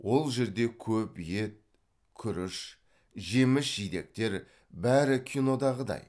ол жерде көп ет күріш жеміс жидектер бәрі кинодағыдай